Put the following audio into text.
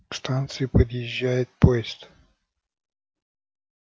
к станции подъезжает поезд